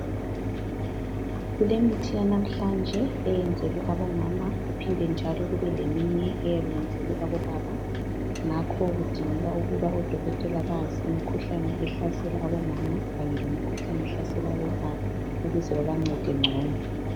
Kulemithi yanamhlanje eyenzelwe abomama kuphinde njalo kube leminye eyabe iyenzelwe abobaba. Ngakho kudingeka oDokotela bazi imikhuhlane ehlasela abomama kanye lemikhuhlane ehlasela abobaba ukuze babancede ngcono.